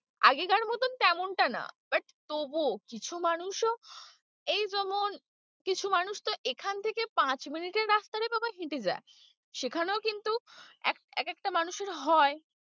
আগেকার মতো তেমনটা না but তবুও কিছু মানুষও এই যেমন কিছু মানুষ তো এখান থেকে পাঁচ minute এর রাস্তা রে বাবা হেঁটে যায় সেখানেও কিন্তু এক একটা মানুষের হয়।